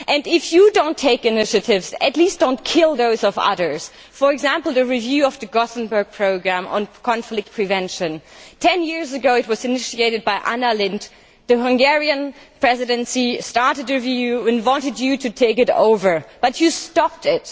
If you do not take initiatives, at least do not kill those of others. For example, the review of the Göteborg Programme on Conflict Prevention ten years ago, it was initiated by Anna Lindh. The Hungarian Presidency started a review and wanted you to take it over, but you stopped